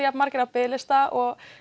jafn margir á biðlista og